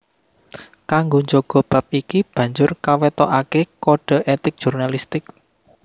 Kanggo njaga bab iki banjur kawetoaké kode etik jurnalistik